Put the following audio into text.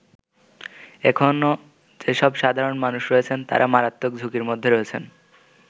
এখনো যেসব সাধারণ মানুষ রয়েছেন তারা মারাত্মক ঝুঁকির মধ্যে রয়েছেন।